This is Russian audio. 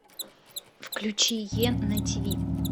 включи е на тв